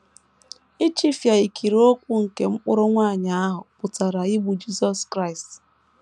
Ichifịa ikiri ụkwụ nke mkpụrụ nwanyị ahụ pụtara igbu Jisọs Kraịst.